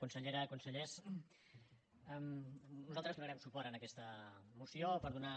consellera consellers nosaltres donarem suport a aquesta moció per donar